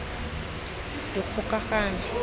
dikgokagano